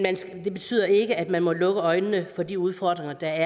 det betyder ikke at man må lukke øjnene for de udfordringer der